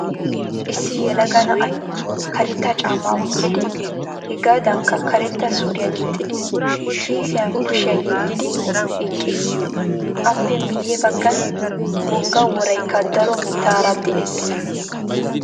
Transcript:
Issi yelaga na'ay karetta caamaa wottidi hegaadankka karetta suriyaa gixxid kiissiyan kushiyaa yeddidi eqqiis. Appe miyye baggan wogga woraykka daro mittaara de'ees.